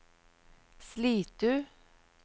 Slitu